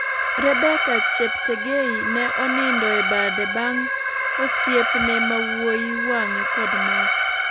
Rebbeca Cheptegei ne onindo e bade bang osiepne ma wuoi wange kod mach.